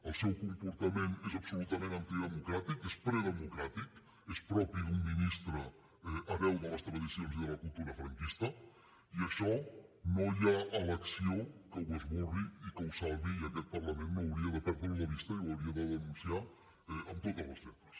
el seu comportament és absolutament antidemocràtic és predemocràtic és propi d’un ministre hereu de les tradicions i de la cultura franquista i això no hi ha elecció que ho esborri i que ho salvi i aquest parlament no hauria de perdre ho de vista i ho hauria de denunciar eh amb totes les lletres